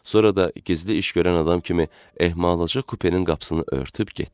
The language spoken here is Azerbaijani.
Sonra da gizli iş görən adam kimi ehmalca kupenin qapısını örtüb getdi.